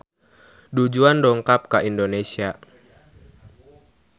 Du Juan dongkap ka Indonesia